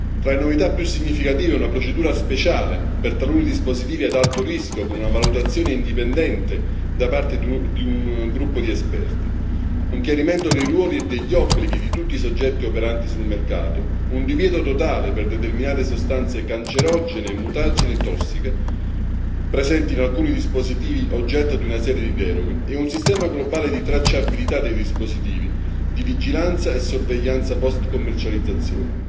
Tra le novità più significative figurano una procedura speciale per taluni dispositivi ad alto rischio con una valutazione indipendente da parte di un gruppo di esperti, un chiarimento dei ruoli e degli obblighi di tutti i soggetti operanti sul mercato, un divieto totale per determinate sostanze cancerogene, mutagene e tossiche presenti in alcuni dispositivi oggetto di una serie di deroghe e un sistema globale di tracciabilità dei dispositivi, di vigilanza e sorveglianza post commercializzazione